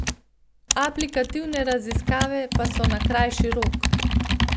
Aplikativne raziskave pa so na krajši rok.